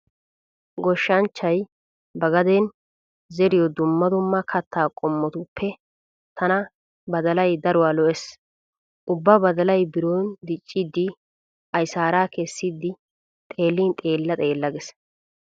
Goshshanchchay ba gadeeni zeriyo dumma dumma katta qommotuppe tana badalay daruwa lo'ees. Ubba badalay biron dicciiddi aysaaraa kessidi xeellin xeella xeella gees.